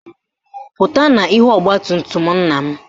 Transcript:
Pụta n'ihu ọgbatumtum nna m!